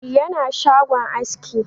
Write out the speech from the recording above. Yana shagon askin